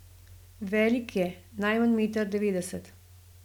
Velik je, najmanj meter devetdeset.